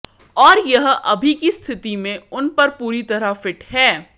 और यह अभी की स्थिति में उन पर पूरी तरह फिट है